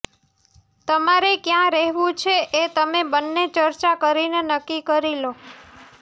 તમારે ક્યાં રહેવું છે એ તમે બંને ચર્ચા કરીને નક્કી કરી લો